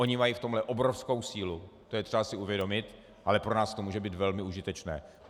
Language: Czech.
Oni mají v tomto obrovskou sílu, to je třeba si uvědomit, ale pro nás to může být velmi užitečné.